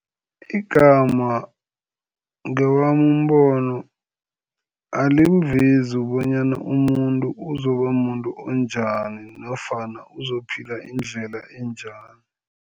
Igama ngewami umbono, alimvezi bonyana umuntu uzoba muntu onjani nofana uzophila indlela enjani.